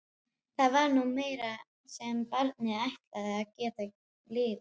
Það var nú meira sem barnið ætlaði að geta lifað.